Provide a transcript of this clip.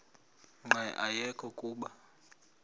nqe ayekho kuba